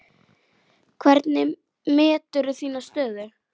Hvernig meturðu þína stöðu?